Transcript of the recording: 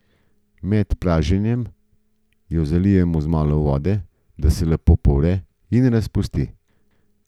Med praženjem jo zalijemo z malo vode, da se lepo povre in razpusti.